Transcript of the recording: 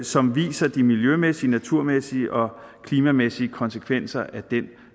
som viser de miljømæssige naturmæssige og klimamæssige konsekvenser af den